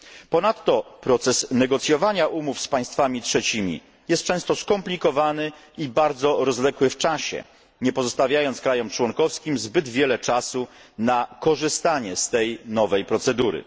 Ponadto proces negocjowania umów z państwami trzecimi jest często skomplikowany i bardzo rozwlekły w czasie, nie pozostawiając krajom członkowskim zbyt wiele czasu na korzystanie z tej nowej procedury.